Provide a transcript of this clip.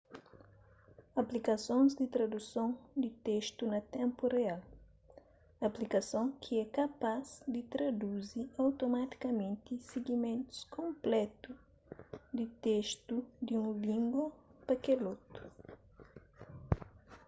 aplikasons di traduson di testu na ténpu real aplikason ki é kapaz di traduzi otomatikamenti sigimentus konplétu di testu di un língua pa kel otu